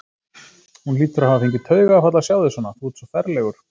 Hún hlýtur að hafa fengið taugaáfall að sjá þig svona, þú ert svo ferlegur!